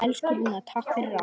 Elsku Rúna, takk fyrir allt.